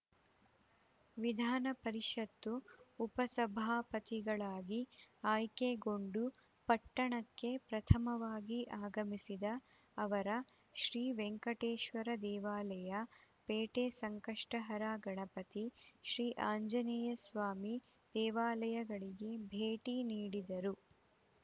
ವಿಧಾನ ಪರಿಷತ್ತು ಉಪ ಸಭಾಪತಿಗಳಾಗಿ ಆಯ್ಕೆಗೊಂಡು ಪಟ್ಟಣಕ್ಕೆ ಪ್ರಥಮವಾಗಿ ಆಗಮಿಸಿದ ಅವರ ಶ್ರೀ ವೆಂಕಟೇಶ್ವರ ದೇವಾಲಯ ಪೇಟೆ ಸಂಕಷ್ಟಹರ ಗಣಪತಿ ಶ್ರೀ ಆಂಜನೇಯಸ್ವಾಮಿ ದೇವಾಲಯಗಳಿಗೆ ಭೇಟಿ ನೀಡಿದರು